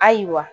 Ayiwa